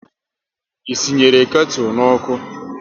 Ị sị nyere ketu n'ọkụ?